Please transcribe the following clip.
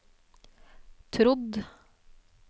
trodd